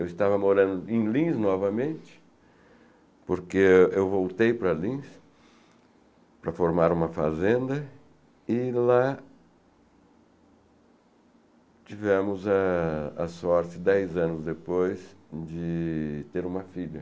Eu estava morando em Lins novamente, porque eu voltei para Lins para formar uma fazenda e lá tivemos ah... a sorte, dez anos depois, de ter uma filha.